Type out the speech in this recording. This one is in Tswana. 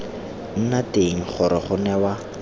nna teng gore go newa